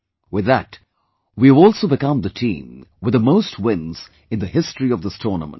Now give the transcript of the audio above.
With that, we have also become the team with the most wins in the history of this tournament